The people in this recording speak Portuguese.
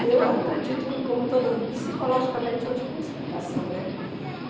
E eu acredito que como toda, psicologicamente, hoje tem uma explicação, né.